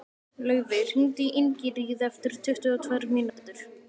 Laufey, hringdu í Ingiríði eftir tuttugu og tvær mínútur.